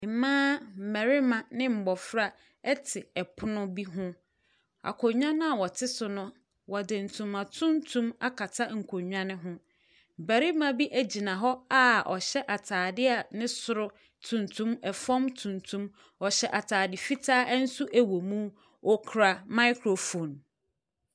Mmaa, mmɛrima ne mbɔfra ɛte ɛpono bi ho, akonwa no a wɔte so no, wɔde tuntum akata nkonwa no ho. Bɛrima bi egyina hɔ a ɔhyɛ ataade a ne soro tuntum, ɛfɔm tuntum, ɔhyɛ ataade fitaa ɛnso ɛwɔ mu, okura maekrofon.